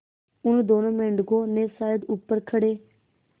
उन दोनों मेढकों ने शायद ऊपर खड़े